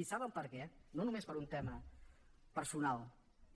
i sabem per què no només per un tema personal